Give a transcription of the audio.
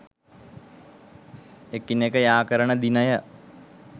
එකිනෙක යාකරන දිනය